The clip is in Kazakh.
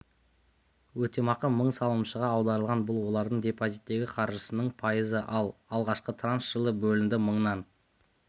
өтемақы мың салымшыға аударылған бұл олардың депозиттегі қаржысының пайызы ал алғашқы транш жылы бөлінді мыңнан